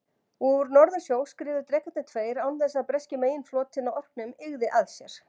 Úr Norðursjó skriðu drekarnir tveir, án þess að breski meginflotinn á Orkneyjum yggði að sér.